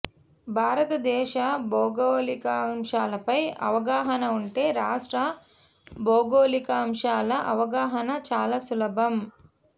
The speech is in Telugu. భారతదేశ భౌగోళికాంశాలపై అవగాహన ఉంటే రాష్ట్ర భౌగోళికాంశాల అవగాహన చాలా సులభం